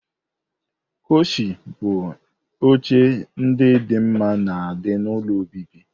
Koushi bụ oche ndị dị mma na di n'ụlọ obibi.